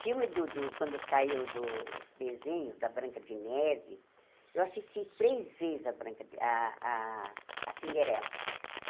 Filme do do quando saiu dos desenhos da Branca de Neve, eu assisti três vezes a branca a a a Cinderela.